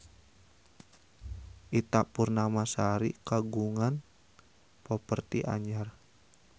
Ita Purnamasari kagungan properti anyar